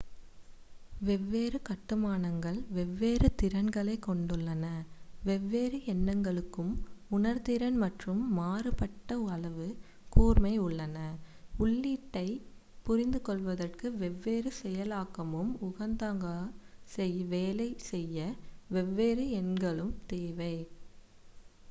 வெவ்வேறு கட்டுமானங்கள் வெவ்வேறு திறன்களைக் கொண்டுள்ளன வெவ்வேறு எண்ணங்களுக்கும் உணர்திறன் மற்றும் மாறுபட்ட அளவு கூர்மை உள்ளன உள்ளீட்டைப் புரிந்துகொள்வதற்கு வெவ்வேறு செயலாக்கமும் உகந்ததாக வேலை செய்ய வெவ்வேறு எண்களும் தேவை